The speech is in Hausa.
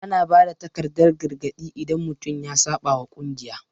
Ana ba da takardan gargadi idan mutum ya saɓa wa kungiya.